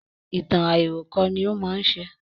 Ìtàn àìròkọ ní ó má ń ṣe